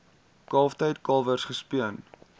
kalftyd kalwers gespeen